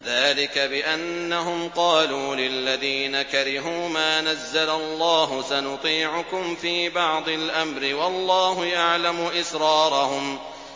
ذَٰلِكَ بِأَنَّهُمْ قَالُوا لِلَّذِينَ كَرِهُوا مَا نَزَّلَ اللَّهُ سَنُطِيعُكُمْ فِي بَعْضِ الْأَمْرِ ۖ وَاللَّهُ يَعْلَمُ إِسْرَارَهُمْ